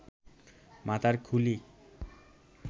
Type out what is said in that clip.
মাথার খুলি